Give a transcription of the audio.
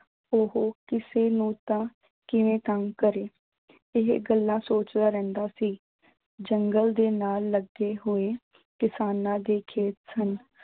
ਉਹ ਕਿਸੇ ਨੂੰ ਤਾਂ ਕਿਵੇਂ ਤੰਗ ਕਰੇ, ਇਹ ਗੱਲਾਂ ਸੋਚਦਾ ਰਹਿੰਦਾ ਸੀ, ਜੰਗਲ ਦੇ ਨਾਲ ਲੱਗੇ ਹੋਏ ਕਿਸਾਨਾਂ ਦੇ ਖੇਤ ਸਨ।